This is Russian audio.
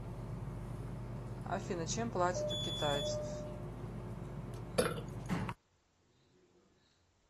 афина чем платят у китайцев